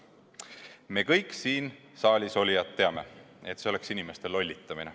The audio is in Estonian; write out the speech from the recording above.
Me kõik siin saalis olijad teame, et see oleks inimeste lollitamine.